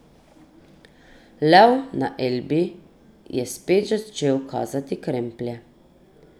Lev na Elbi je spet začel kazati kremplje.